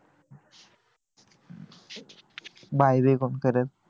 bye बी कोण करेल